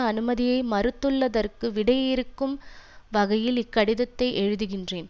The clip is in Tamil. அனுமதியை மறுத்துள்ளதற்கு விடையிறுக்கும் வகையில் இக்கடிதத்தை எழுதிகின்றேன்